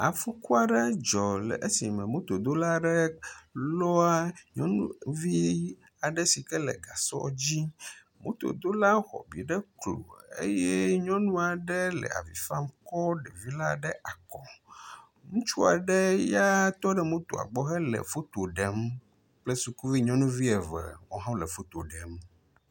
afuku aɖe dzɔ le esime mototɔ aɖe lɔa nyɔnuvi aɖe le gasɔ dzi moto dola xɔabi ɖe klo eye nyɔŋuaɖe le avifam kɔ ɖevi la ɖe akɔ ŋutsuaɖe ya tɔɖe motoa gbɔ hele foto ɖem kple sukuvi nyɔnuvi eve wɔ hã wóle fotoɖem